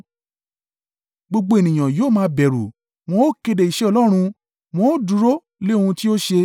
Gbogbo ènìyàn yóò máa bẹ̀rù wọn ó kéde iṣẹ́ Ọlọ́run wọn ó dúró lé ohun tí ó ṣe.